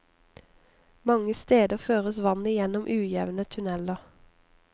Mange steder føres vannet gjennom ujevne tunneler.